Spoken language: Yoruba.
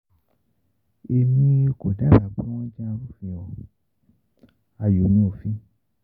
Emi ko daba pe wọn jẹ arufin; ayo ni ofin.